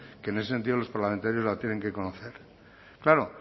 que en ese sentido los parlamentarios la tienen que conocer claro